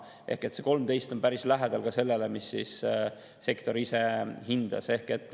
Ehk see 13% on päris lähedal sellele, mis on sektori enda hinnang.